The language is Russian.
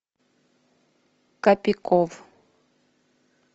капиков